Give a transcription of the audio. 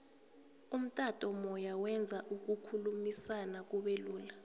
umtato moya wenza ukukhulumisana kube lula